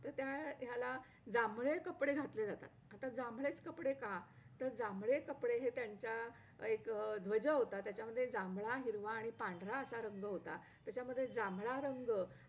अ त्यावेळेस मी अ महात्मा गांधी आणि स्वामी स्वामी विवेकानंदनावर भाषण केले होते.